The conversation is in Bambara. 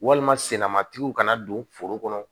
Walima sennamatigi kana don foro kɔnɔ